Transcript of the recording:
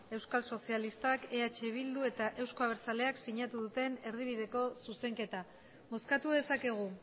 euskal sozialistak eh bildu eta euzko abertzaleak sinatu duten erdibideko zuzenketa bozkatu dezakegu